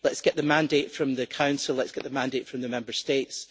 Let's get the mandate from the Council and let's get the mandate from the Member States.